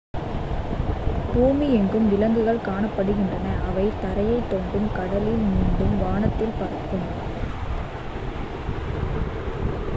பூமி எங்கும் விலங்குகள் காணப்படுகின்றன அவை தரையை தோண்டும் கடலில் நீந்தும் மற்றும் வானத்தில் பறக்கும்